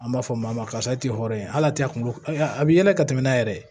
An b'a fɔ maa ma karisa tɛ hɔrɔn ye hali tɛ a kun a bi yɛlɛ ka tɛmɛ n'a yɛrɛ ye